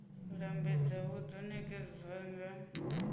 lambedza hu do nekedzwa nga